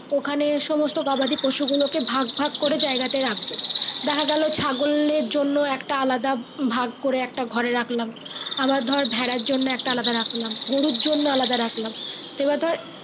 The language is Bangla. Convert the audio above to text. ওখানে সমস্ত গবাদি পশু গুলো কে ভাগ ভাগ করে যাই গা তে রাখবো। দেখা গেল ছাগলের জন্য একটা আলাদা একটা ভাগকে গড়ে রাখলাম বাইর ধর ভাড়া জন্য একটা রাখলাম গরু জন্য রাখলাম তবে ধরে।